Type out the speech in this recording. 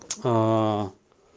аа